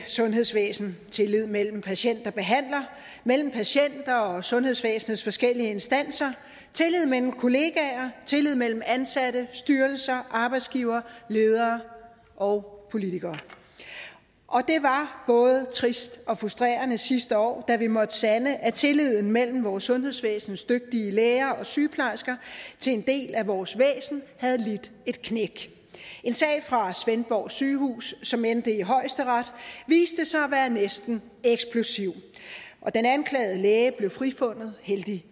sundhedsvæsen tillid mellem patient og behandler mellem patient og sundhedsvæsenets forskellige instanser tillid mellem kollegaer tillid mellem ansatte styrelser arbejdsgivere ledere og politikere og det var både trist og frustrerende sidste år da vi måtte sande at tilliden mellem vores sundhedsvæsens dygtige læger og sygeplejersker til en del af vores væsen havde lidt et knæk en sag fra svendborg sygehus som endte i højesteret viste sig at være næsten eksplosiv og den anklagede læge blev frifundet heldigvis